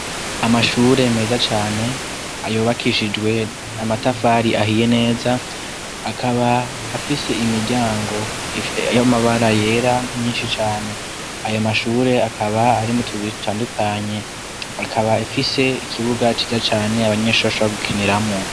Amashure meza cane, ayubakishijwe n'amatafari ahiye neza, akaba afise imiryango y'amabara yera myinshi cane. Ayo mashure akaba arimwo utubuye dutandukanye, akaba afise ikibuga ciza cane abanyeshure bashobora gukiniramwo.